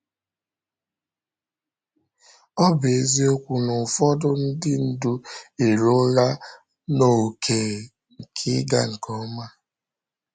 Ọ bụ eziokwu na ụfọdụ ndị ndu eruola n’ókè nke ịga nke ọma.